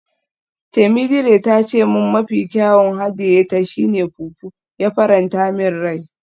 Temidire ta ce min mafi kyawun hadiye ta shi ne fufu, ya faranta min rai.